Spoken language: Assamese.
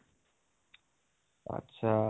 আত্চ্চা